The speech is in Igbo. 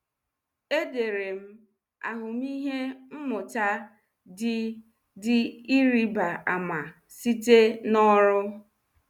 Edere m ahụmịhe mmụta dị dị ịrịba ama site na ọrụ.